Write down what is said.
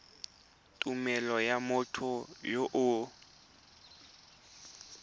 tumelelo ya motho yo o